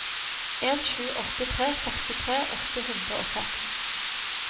en sju åtte tre trettiseks åtte hundre og seks